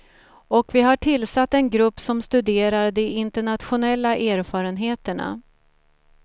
Och vi har tillsatt en grupp som studerar de internationella erfarenheterna.